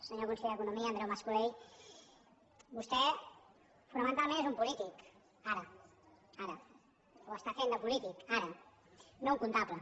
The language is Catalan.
senyor conseller d’economia andreu mascolell vostè fonamentalment és un polític ara ara o està fent de polític ara no un comptable